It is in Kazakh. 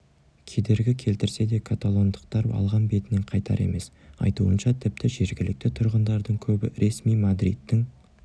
кедергі келтірсе де каталондықтар алған бетінен қайтар емес айтуынша тіпті жергілікті тұрғындардың көбі ресми мадридтің